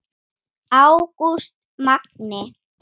Ágúst Magni.